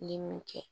Ni mun kɛ